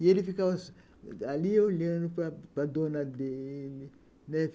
E ele ficava ali olhando para dona dele... né?